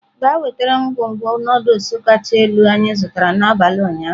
Gaa nweta ngwugwu Nụdụls kacha elu anyị zụtara n'abalị ụnyaahụ!.